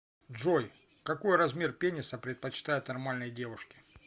джой какой размер пениса предпочитают нормальные девушки